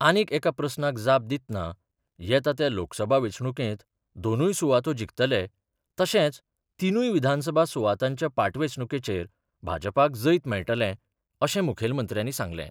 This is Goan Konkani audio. आनीक एका प्रस्नाक जाप दितना येता त्या लोकसभा वेंचणुकेंत दोनूय सुवातो जिखतले तशेंच तिनूय विधानसभा सुवातांच्या पाटवेंचणुकेचेर भाजपाक जैत मेळटले अशें मुखेलमंत्र्यांनी सांगलें.